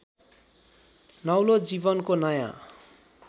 नौलो जीवनको नयाँ